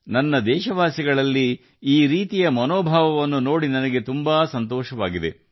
ನನ್ನ ದೇಶವಾಸಿಗಳಲ್ಲಿ ಈ ರೀತಿಯ ಮನೋಭಾವವನ್ನು ನೋಡುವುದು ನನಗೆ ಅಪಾರ ಸಂತೋಷವನ್ನು ನೀಡುತ್ತದೆ